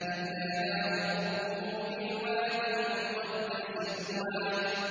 إِذْ نَادَاهُ رَبُّهُ بِالْوَادِ الْمُقَدَّسِ طُوًى